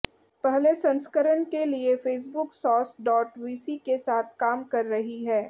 पहले संस्करण के लिए फेसबुक सॉस डॉट वीसी के साथ काम कर रही है